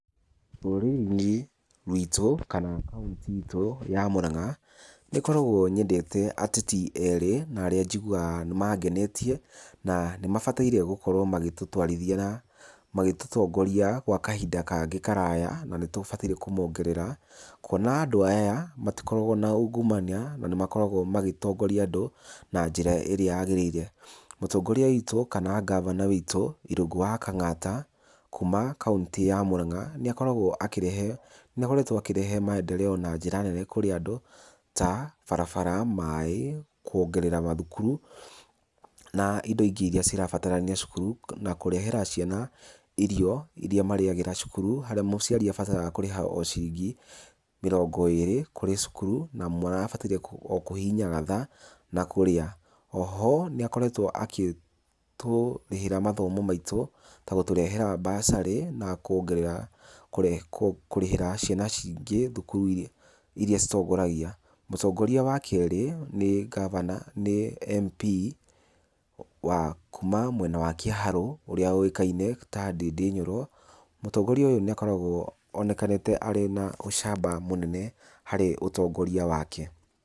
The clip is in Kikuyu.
Rũrĩrĩ-inĩ ruitũ kana kautĩ itũ ya Mũrang'a, nĩngoragwo nyendete ateti erĩ na arĩa njiguaga nĩ mangenetie na nĩbataire gũkorwo magĩtũtwarithia, magĩtũtongoria gwa kahinda kangĩ karaya na nĩtũbataire kũmongerera kuona andũ aya matikoragwo na ungumania na nĩmakoragwo magĩtongoria andũ na njĩra ĩrĩa yagĩrĩire. Mũtongoria wĩtũ kana ngavana witũ Irũngũ wa Kang'ata kuma kautĩ ya Mũrang'a, nĩ akoragwo akĩrehe, nĩ akoretwo akĩrehe maendereo na njĩra nene kũrĩ andũ ta barabara, maĩ, kuongerera mathukuru na indo ingĩ iria irabatarania cukuru na kũrehera ciana irio iria mariagĩra cukuru harĩa mũciari abataraga kũrĩha o ciringi mĩrongo ĩrĩ kũrĩ cukuru na mwana abataire o kũhihinya gathaa na kũrĩa. O ho nĩ akoretwo agĩtũrĩhĩra mathomo maitũ ta kũheana mbacarĩ na kũrĩhĩra ciana ingĩ cukuru iria citongoragia. Mũtongoria wa kerĩ nĩ MP kuma mwena wa Kĩharũ ũrĩa ũĩkaine ta Ndĩndĩ nyoro. Mũtongoria ũyũ nĩ onekanĩte arĩ na ũcamba mũnene harĩ ũtongoria wake.